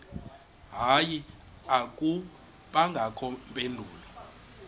hayi akubangakho mpendulo